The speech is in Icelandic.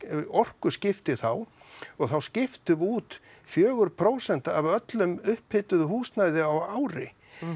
orkuskipti þá og þá skiptum við út fjögur prósent af öllu upphituðu húsnæði á ári